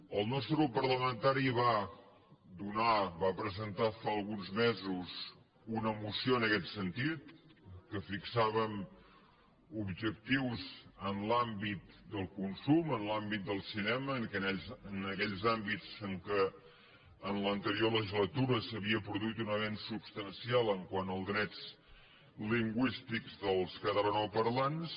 el nostre grup parlamentari va presentar fa alguns mesos una moció en aquest sentit en què fixàvem objectius en l’àmbit del consum en l’àmbit del cinema en aquells àmbits en què en l’anterior legislatura s’havia produït un avenç substancial quant als drets lingüístics dels catalanoparlants